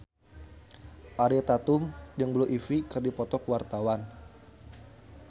Ariel Tatum jeung Blue Ivy keur dipoto ku wartawan